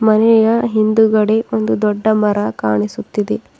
ಮನೆಯ ಹಿಂದುಗಡೆ ಒಂದು ದೊಡ್ಡ ಮರ ಕಾಣಿಸುತ್ತಿದೆ.